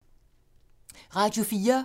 Radio 4